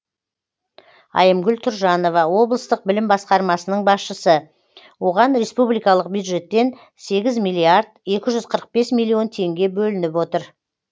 айымгүл тұржанова облыстық білім басқармасының басшысы оған республикалық бюджеттен сегіз миллиард екі жүз қырық бес миллион теңге бөлініп отыр